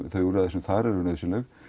þau úrræði sem eru nauðsynleg